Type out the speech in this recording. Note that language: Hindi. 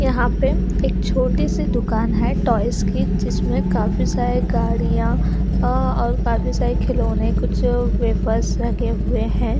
यहाँ पे एक छोटी सी दुकान है टॉयज की जिसमे काफी सारी गाड़िया अः और काफी सारे खिलोने अः कुछ वेफर्स रखे हुए है।